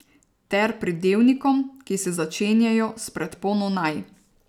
Ter pridevnikom, ki se začenjajo s predpono naj.